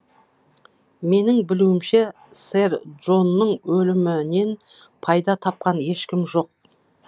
менің білуімше сэр джонның өлімінен пайда тапқан ешкім жоқ